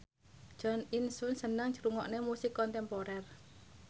Jo In Sung seneng ngrungokne musik kontemporer